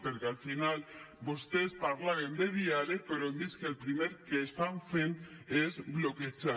perquè al final vostès parlaven de diàleg però hem vist que el primer que estan fent és bloquejar